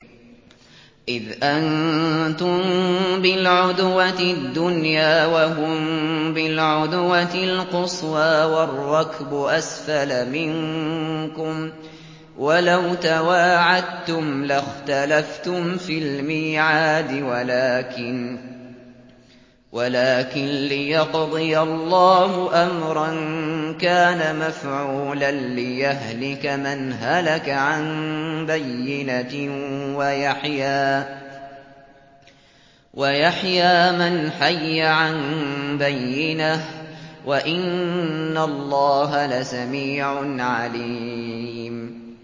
إِذْ أَنتُم بِالْعُدْوَةِ الدُّنْيَا وَهُم بِالْعُدْوَةِ الْقُصْوَىٰ وَالرَّكْبُ أَسْفَلَ مِنكُمْ ۚ وَلَوْ تَوَاعَدتُّمْ لَاخْتَلَفْتُمْ فِي الْمِيعَادِ ۙ وَلَٰكِن لِّيَقْضِيَ اللَّهُ أَمْرًا كَانَ مَفْعُولًا لِّيَهْلِكَ مَنْ هَلَكَ عَن بَيِّنَةٍ وَيَحْيَىٰ مَنْ حَيَّ عَن بَيِّنَةٍ ۗ وَإِنَّ اللَّهَ لَسَمِيعٌ عَلِيمٌ